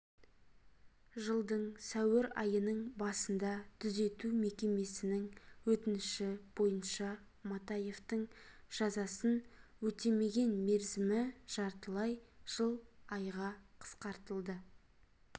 жылдың сәуір айының басында түзету мекемесінің өтініші бойынша матаевтың жазасын өтемеген мерзімі жартылай жыл айға қысқартылды